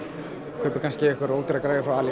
kaupir kannski einhverja ódýra græju frá ali